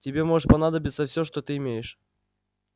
тебе может понадобиться всё что ты имеешь